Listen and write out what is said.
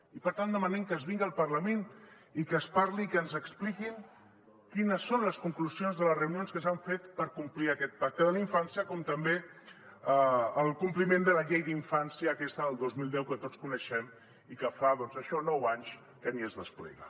i per tant demanem que es vingui al parlament i que es parli i que ens expliquin quines són les conclusions de les reunions que s’han fet per complir aquest pacte de la infància com també el compliment de la llei d’infància aquesta del dos mil deu que tots coneixem i que fa doncs això nou anys que ni es desplega